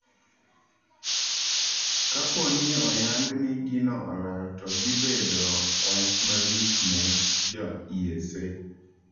Kapooni oyang ni gino olal to dhii bedo waxch malich ne jo ESA.